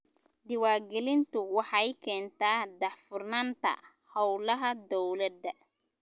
Diiwaangelintu waxay keentaa daahfurnaanta hawlaha dawladda.